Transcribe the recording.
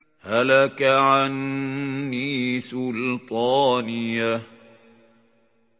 هَلَكَ عَنِّي سُلْطَانِيَهْ